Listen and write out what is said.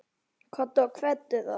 Komdu og kveddu þá.